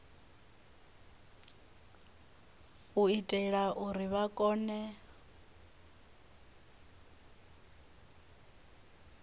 u itela uri vha kone